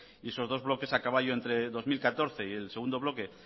y esos dos bloques a caballo entre dos mil catorce y el segundo bloque